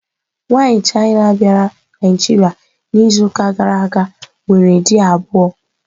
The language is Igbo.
Nwaanyị China bịara Naịjirịa n'izuụka gara aga nwere di abụọ.